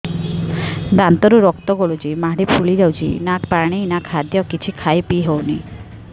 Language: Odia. ଦାନ୍ତ ରୁ ରକ୍ତ ଗଳୁଛି ମାଢି ଫୁଲି ଯାଉଛି ନା ପାଣି ନା ଖାଦ୍ୟ କିଛି ଖାଇ ପିଇ ହେଉନି